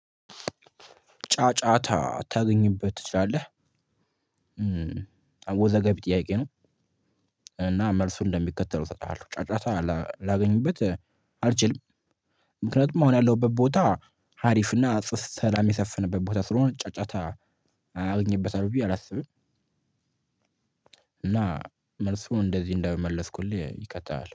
ጫጫታ ታገኝበት ትችላለህ አወዘጋቢ ጥያቄ ነው። እና መልሱን እንደሚከተለው እሰጥሀለሁ ጫጫታ ላገኝበት አልችልም። ምክንያቱም አሁን ያለሁበት ቦታ ሀሪፍና ሰላም የሰፈነበት ቦታ ስለሆነ ጫጫታ አገኝበታለሁ ብዬ አላስብም። እና መልሱን እንደዚህ እንደመለስኩልህ ይቀጥላል